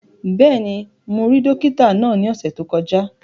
Bẹ́ẹ̀ni, mo rí dókítà náà ní ọ̀sẹ̀ tó kọjá